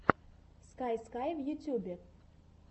скай скай в ютубе